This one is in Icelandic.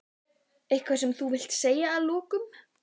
Eitthvað sem þú vilt segja að lokum?